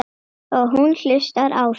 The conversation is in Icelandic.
Og hún hlustar á þær.